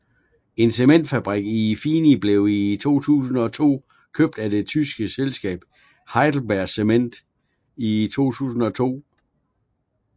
En cementfabrik i Fieni blev i 2002 købt af det tyske selskab HeidelbergCement i 2002